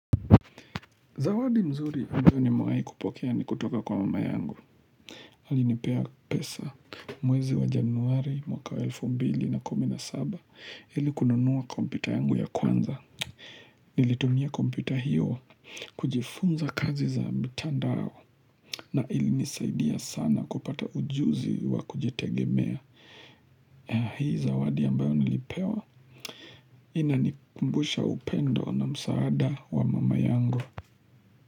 Zawadi mzuri nimewai kupokea ni kutoka kwa mama yangu Alinipea pesa mwezi wa januari mwaka wa elfu mbili na kumi na saba, ili kununuwa kompyuta yangu ya kwanza Nilitumia kompyuta hiyo kujifunza kazi za mtandao na ilinisaidia sana kupata ujuzi wa kujitegemea Hii zawadi ambayo nilipewa Inanikumbusha upendo na msaada wa mama yangu.